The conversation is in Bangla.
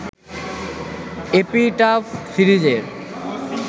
‘এপিটাফ’ সিরিজের